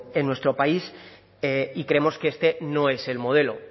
en nuestro país y creemos que este no es el modelo